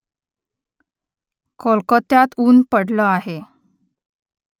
कोलकात्यात ऊन्ह पडलं आहे